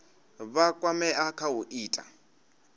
vha kwamea kha u ita